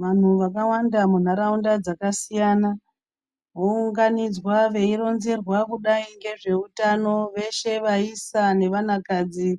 Vantu vakawanda muntaraunda dzakasiyana vounganidzwa veironzerwa kudai ngezveutano veshe vaisa nenvana kadzi